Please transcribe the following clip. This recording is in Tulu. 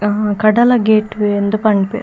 ಹಾ ಕಡಲ ಗೇಟ್ ಇಂದ್ ಪನ್ಪೆರ್.